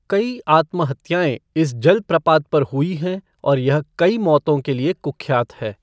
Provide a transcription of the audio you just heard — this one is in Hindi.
कई आत्महत्याएँ इस जलप्रपात पर हुई हैं और यह कई मौतों के लिए कुख्यात है।